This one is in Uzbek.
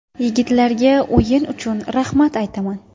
Yigitlarga o‘yin uchun rahmat aytaman.